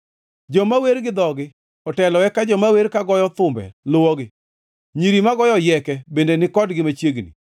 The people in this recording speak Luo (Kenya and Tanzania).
Joma wer gi dhogi otelo eka joma wer ka goyo thumbe luwogi, nyiri magoyo oyieke bende ni kodgi machiegni.